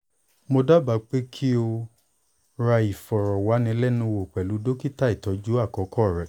mo daba pe ki o ra ifọrọwanilẹnuwo pẹlu dokita itọju akọkọ rẹ